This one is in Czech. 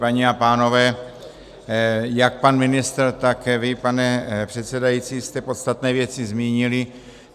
Paní a pánové, jak pan ministr, tak vy, pane předsedající, jste podstatné věci zmínili.